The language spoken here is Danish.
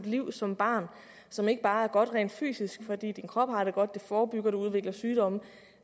liv som barn som ikke bare er godt rent fysisk fordi kroppen har det godt det forebygger at man udvikler sygdomme